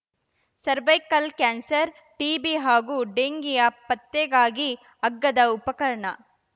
cervical cancer TB ಹಾಗೂ ಡೆಂಘೀಯ ಪತ್ತೆಗಾಗಿ ಅಗ್ಗದ ಉಪಕರಣ